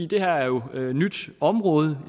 det her er jo et nyt område